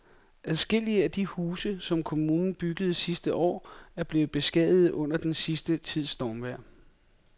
Adskillige af de huse, som kommunen byggede sidste år, er blevet beskadiget under den sidste tids stormvejr.